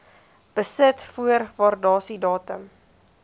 besit voor waardasiedatum